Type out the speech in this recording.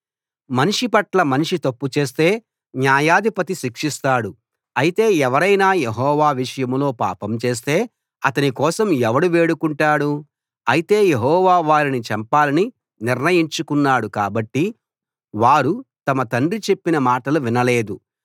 మనిషి పట్ల మనిషి తప్పు చేస్తే న్యాయాధిపతి శిక్షిస్తాడు అయితే ఎవరైనా యెహోవా విషయంలో పాపం చేస్తే అతని కోసం ఎవడు వేడుకుంటాడు అయితే యెహోవా వారిని చంపాలని నిర్ణయించుకున్నాడు కాబట్టి వారు తమ తండ్రి చెప్పిన మాటలు వినలేదు